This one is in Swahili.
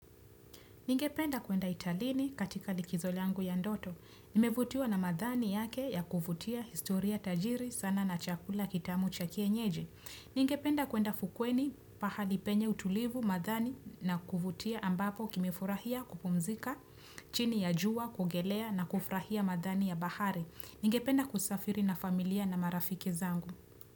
Ningependa kuenda italini katika likizo langu ya ndoto. Nimevutiwa na madhani yake ya kuvutia historia tajiri sana na chakula kitamu cha kienyeji. Ningependa kuenda fukweni pahali penye utulivu madhani na kuvutia ambapo kimefurahia kupumzika chini ya jua, kuogelea na kufurahia madhani ya bahari. Ningependa kusafiri na familia na marafiki zangu.